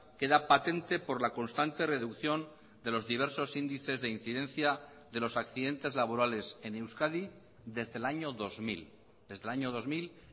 queda patente por la constante reducción de los diversos índices de incidencia de los accidentes laborales en euskadi desde el año dos mil desde el año dos mil